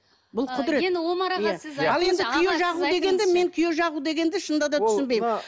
бұл құдірет енді омар аға сіз ал енді күйе жағу дегенді мен күйе жағу дегенді шынында да түсінбеймін